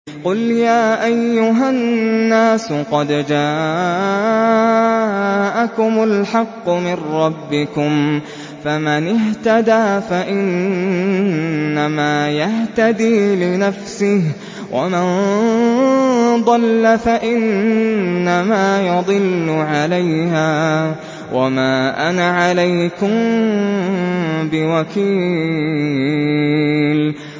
قُلْ يَا أَيُّهَا النَّاسُ قَدْ جَاءَكُمُ الْحَقُّ مِن رَّبِّكُمْ ۖ فَمَنِ اهْتَدَىٰ فَإِنَّمَا يَهْتَدِي لِنَفْسِهِ ۖ وَمَن ضَلَّ فَإِنَّمَا يَضِلُّ عَلَيْهَا ۖ وَمَا أَنَا عَلَيْكُم بِوَكِيلٍ